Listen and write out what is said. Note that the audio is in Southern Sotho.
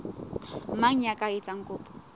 mang ya ka etsang kopo